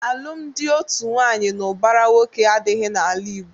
Alụmdi otu nwaanyị na ụbara nwoke adịghị na-ala Igbo.